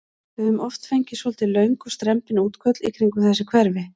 Við höfum oft fengið svolítið löng og strembin útköll í kringum þessi hverfi?